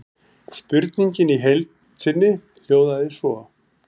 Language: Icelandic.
Spurningin í heild sinni hljóðaði svo: